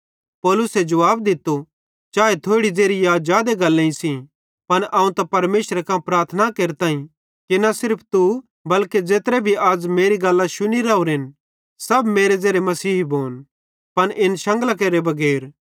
पौलुसे जुवाब दित्तो चाए थोड़ी ज़ेरी या जादे गल्लेईं सेइं पन अवं त परमेशरे कां प्रार्थना केरताईं कि न सिर्फ तू बल्के ज़ेत्रे भी अज़ मेरी गल्लां शुनी रावरेन सब मेरे ज़ेरे मसीही भोन पन इन शंगलां केरे बगैर